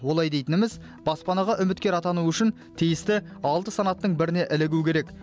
олай дейтініміз баспанаға үміткер атану үшін тиісті алты санаттың біріне ілігу керек